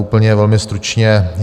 Úplně velmi stručně.